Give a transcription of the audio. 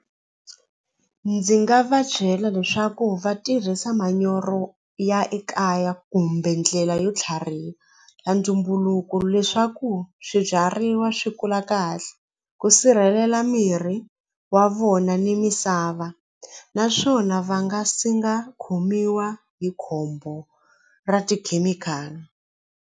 Ndzi nga va byela leswaku va tirhisa manyoro ya ekaya kumbe ndlela yo tlhariha ya ntumbuluko leswaku swibyariwa swi kula kahle ku sirhelela mirhi wa vona ni misava naswona va nga senga khomiwa hi khombo ra tikhemikhali.